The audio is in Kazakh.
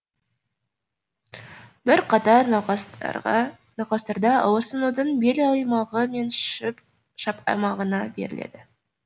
бірқатар науқастарда ауырсынудың бел аймағы мен шап аймағына беріледі